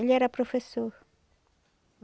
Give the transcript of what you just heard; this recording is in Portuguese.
Ele era professor.